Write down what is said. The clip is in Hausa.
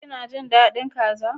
Ki na jin dadin kaza?